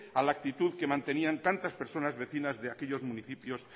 a la actitud que mantenían tantas personas vecinas de aquellos municipios